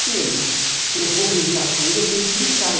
Se ele se eu vou brincar com ele, eu tenho que brincar.